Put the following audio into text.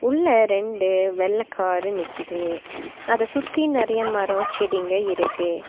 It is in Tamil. உள்ள ரெண்டு வெள்ள காரு நிக்கிது அத சுத்தி நெறைய மரோ செடிங்க இருக்கு.